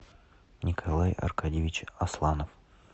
николай аркадьевич асланов